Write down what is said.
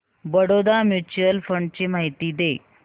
Baroda mutual fund ची माहिती दे